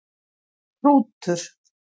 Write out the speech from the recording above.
Hrútur